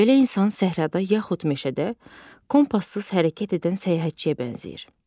Belə insan səhrada yaxud meşədə kompassız hərəkət edən səyyahçiyə bənzəyir.